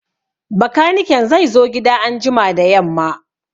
Bakaniken zai zo gida anjima da yamma